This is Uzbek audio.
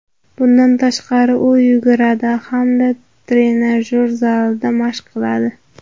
Bundan tashqari, u yuguradi hamda trenajyor zalida mashq qiladi.